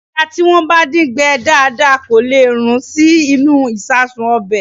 Ẹja tí wọ́n bá dín gbẹ dáadáa kò lè rún sí inú ìṣasùn ọbẹ̀.